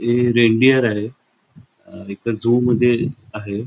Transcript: हे रेनडियर आहे इथ झू मध्ये आहे.